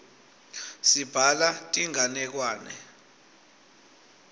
sibhala tinganekwane